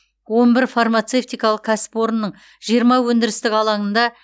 он бір фармацевтикалық кәсіпорынның жиырма өндірістік алаңында